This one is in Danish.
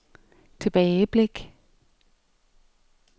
tilbageblik